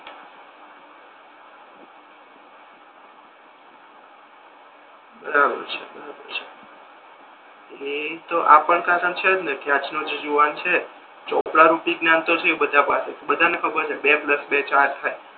બરાબર છે બરાબર છે એટલે ઇ તો આજનો જે જુવાન છે ચોપડા રૂપી જ્ઞાન તો થયુ બધા પાસે બધાને ખબર છે બે પ્લસ બે ચાર થાય